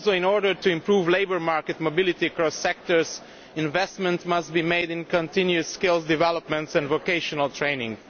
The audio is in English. Also, in order to improve labour market mobility across sectors, investment must be made in continuous skills development and vocational training.